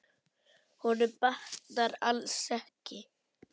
Honum batnar alls ekki.